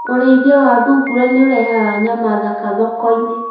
ũrĩithia wa thungura nĩũrehaga nyama thaka thokoinĩ